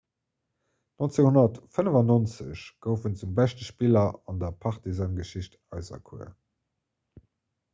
1995 gouf en zum beschte spiller an der partizan-geschicht auserkuer